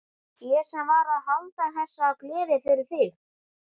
Ég sem var að halda þessa gleði fyrir þig!